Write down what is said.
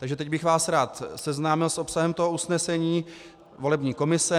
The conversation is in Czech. Takže teď bych vás rád seznámil s obsahem toho usnesení volební komise.